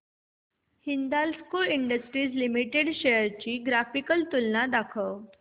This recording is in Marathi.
हिंदाल्को इंडस्ट्रीज लिमिटेड शेअर्स ची ग्राफिकल तुलना दाखव